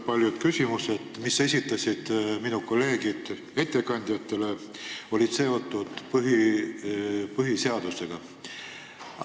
Paljud küsimused, mille esitasid ettekandjatele minu kolleegid, olid seotud põhiseadusega.